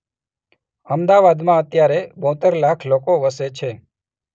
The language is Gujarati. અમદાવાદમાં અત્યારે બોતેર લાખ લોકો વસે છે